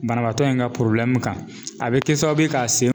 Banabaatɔ in ka kan a bi kɛ sababu ye k'a sen